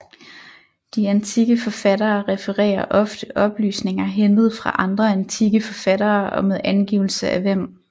De antikke forfattere refererer ofte oplysninger hentet fra andre antikke forfattere og med angivelse af hvem